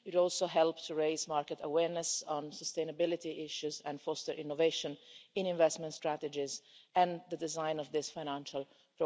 It will also help to raise market awareness on sustainability issues and foster innovation in investment strategies and the design of this financial product.